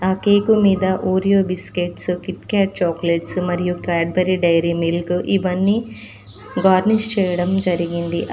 ఆ కేకు మీద Oreo biscuits Kit Kat chocolates మరియు క్యాడ్బరీ డైరీ మిల్కు ఇవన్నీ గార్నిష్ చేయడం జరిగింది.